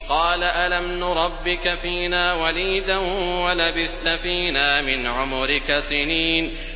قَالَ أَلَمْ نُرَبِّكَ فِينَا وَلِيدًا وَلَبِثْتَ فِينَا مِنْ عُمُرِكَ سِنِينَ